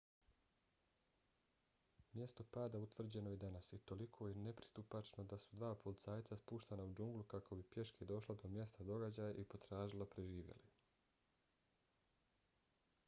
mjesto pada utvrđeno je danas i toliko je nepristupačno da su dva policajca spuštena u džunglu kako bi pješke došla do mjesta događaja i potražila preživjele